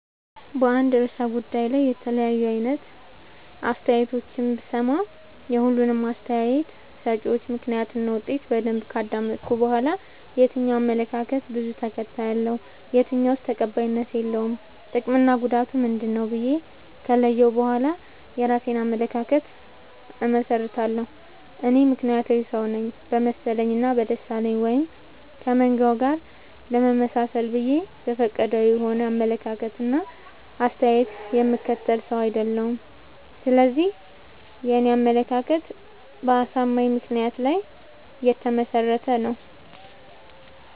በአንድ እርሰ ጉዳይ ላይ የተለያዩ አይነት አስተያየቶችን ብሰማ። የሁሉንም አስታየት ሰጭወች ምክንያት እና ውጤት በደንብ ካዳመጥኩ በኋላ። የትኛው አመለካከት በዙ ተከታይ አለው። የትኛውስ ተቀባይነት የለውም ጥቅምና ጉዳቱ ምንድ ነው ብዬ ከለየሁ በኋላ የእራሴን አመለካከት አመሠርታለሁ። እኔ ምክንያታዊ ሰውነኝ በመሰለኝ እና በደሳለኝ ወይም ከመንጋው ጋር ለመመጣሰል ብዬ ዘፈቀዳዊ የሆነ አመለካከት እና አስተያየት የምከተል ሰው። አይደለሁም ስለዚህ የኔ አመለካከት በአሳማኝ ምክንያት ላይ የተመሰረተ ነው።